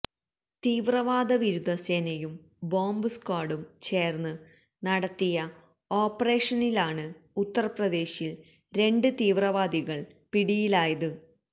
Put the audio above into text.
തീവ്രവാദവിരുദ്ധ സേനയും ബോംബ് സ്ക്വാഡും ചേർന്ന് നടത്തിയ ഓപ്പറേഷനിലാണ് ഉത്തർപ്രദേശിൽ രണ്ട് തീവ്രവാദികൾ പിടിയിലായത്